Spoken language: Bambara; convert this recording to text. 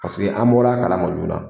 Paseke an b bɔra a kala ma joona.